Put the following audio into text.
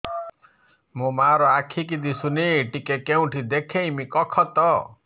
ମୋ ମା ର ଆଖି କି ଦିସୁନି ଟିକେ କେଉଁଠି ଦେଖେଇମି କଖତ